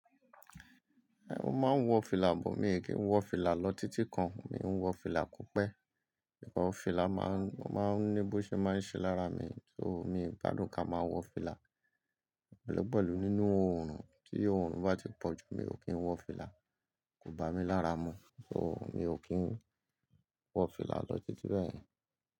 Mo máa ń wọ fìlà, but mii kí ń wọ fìlà lọ títí kan, mi ń wọ fìlà ko pẹ̀. Awọ̀n fìlà máa ń, o máa ń ní bó ṣe máa ń ṣe lára mi, so mi gbádùn ká máa wọ fìlà pẹ̀lú pẹ̀lú nínú òórùn. Tí òórùn bá ti pọ̀ jù, mi ò kí ń wọ fìlà, kò bá mi lára mú, so mi ò kí ń wọ fìlà lọ títí bẹ́ẹ̀yẹn.